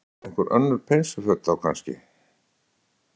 Þóra: Einhver önnur peysuföt þá kannski?